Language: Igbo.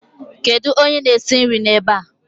Kedu onye na-esi nri ebe ạ?